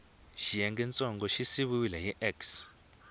xiyengantsongo xi siviwile hi x